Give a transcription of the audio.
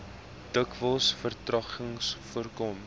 dikwels vertragings voorkom